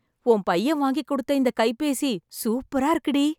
உன் பையன் வாங்கிக்குடுத்த இந்த கைபேசி சூப்பரா இருக்குடி....